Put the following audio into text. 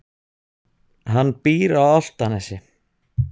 Hann býr á Álftanesi.